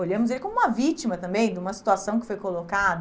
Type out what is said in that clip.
Olhamos ele como uma vítima também de uma situação que foi colocada.